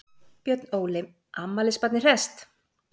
Björn Óli, afmælisbarnið hresst?